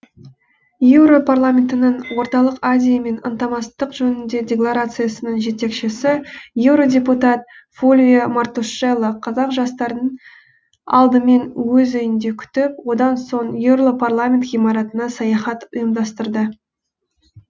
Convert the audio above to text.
еуропарламенттің орталық азиямен ынтымақтастық жөніндегі делегациясының жетекшісі еуродепутат фульвио мартушелло қазақ жастарын алдымен өз үйінде күтіп одан соң еуропарламент ғимаратына саяхат ұйымдастырды